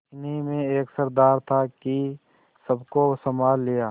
इन्हीं में एक सरदार था कि सबको सँभाल लिया